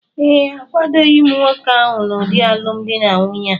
ee, akwadoghị m nwoke ahụ n’ụdị alụmdi na nwunye a